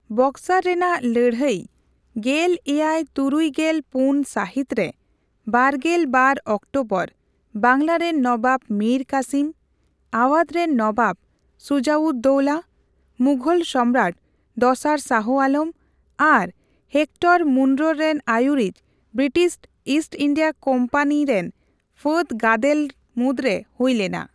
ᱵᱚᱠᱥᱟᱨ ᱨᱮᱱᱟᱜ ᱞᱟᱹᱲᱦᱟᱹᱭ ᱜᱮᱞ ᱮᱭᱟᱭ ᱛᱩᱨᱩᱭ ᱜᱮᱞ ᱯᱩᱱ ᱥᱟᱦᱤᱛ ᱨᱮ ᱵᱟᱨᱜᱮᱞ ᱵᱟᱨ ᱚᱠᱴᱳᱵᱚᱨ ᱵᱟᱝᱞᱟᱨᱮᱱ ᱱᱚᱵᱟᱵ ᱢᱤᱨ ᱠᱟᱥᱤᱢ, ᱟᱣᱟᱫᱷ ᱨᱮᱱ ᱱᱚᱵᱟᱵ ᱥᱩᱡᱟᱼᱩᱫᱼ ᱫᱳᱞᱟ, ᱢᱩᱜᱷᱚᱞ ᱥᱚᱢᱨᱟᱴ ᱫᱚᱥᱟᱨ ᱥᱟᱦᱚ ᱟᱞᱚᱢ ᱟᱨ ᱦᱮᱠᱴᱚᱨ ᱢᱩᱱᱨᱳᱨ ᱨᱮᱱ ᱟᱭᱩᱨᱤᱡ ᱵᱨᱤᱴᱤᱥ ᱤᱥᱴ ᱤᱱᱰᱤᱭᱟ ᱠᱳᱢᱯᱟᱱᱤᱨᱮᱱ ᱯᱷᱟᱹᱫᱜᱟᱫᱮᱞ ᱢᱩᱫᱨᱮ ᱦᱩᱭᱞᱮᱱᱟ ᱾